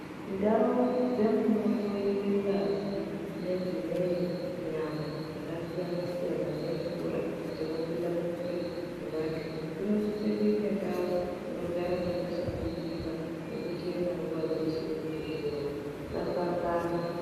Ndawo dzemunohloyiwe ngazi nedzimweni nyama dzakasiyana siyana nemvura dzinobuda mumwiri dzevantu, inosise kuyite ndawo inogara dzakashambidzika nekuchena nguva dzese kuti zviro zvisasangana.